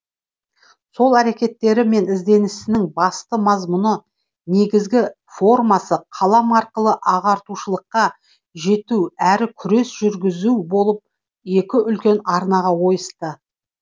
сол әрекеттері мен ізденісінің басты мазмұны негізгі формасы қалам арқылы ағартушылыққа жету әрі күрес жүргізу болып екі үлкен арнаға ойысты